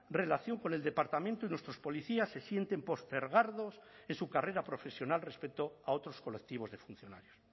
relación con el departamento y nuestros policías se sienten postergados en su carrera profesional respecto a otros colectivos de funcionarios